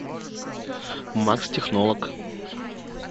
макс технолог